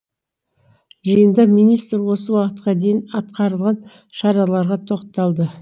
жиында министр осы уақытқа дейін атқарылған шараларға тоқталды